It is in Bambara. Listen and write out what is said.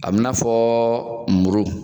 A b'i n'a fɔɔ muru